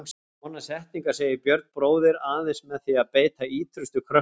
Svona setningar segir Björn bróðir aðeins með því að beita ýtrustu kröftum.